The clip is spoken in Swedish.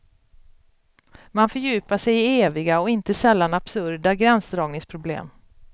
Man fördjupar sig i eviga och inte sällan absurda gränsdragningsproblem.